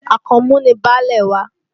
Àkànmú ni baálé wa